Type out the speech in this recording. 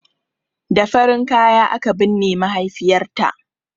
Da farin kaya aka binne mahaifiyarta ta